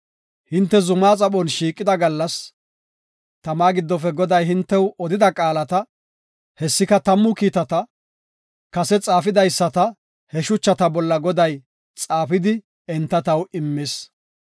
Hinte zumaa xaphon shiiqida gallas, tama giddofe Goday hintew odida qaalata, hessika Tammu Kiitata, kase xaafidaysata he shuchata bolla Goday xaafidi enta taw immis.